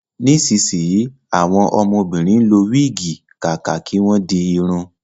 Nísìnsíyì, àwọn ọmọbìnrin ń lo wígì kàkà kí wọ́n di irun